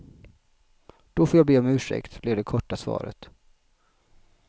Då får jag be om ursäkt, blev det korta svaret.